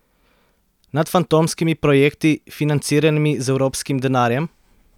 Nad fantomskimi projekti, financiranimi z evropskim denarjem?